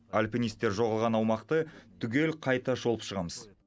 альпинистер жоғалған аумақты түгел қайта шолып шығамыз